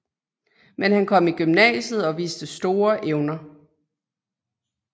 Men han kom i gymnasiet og viste store evner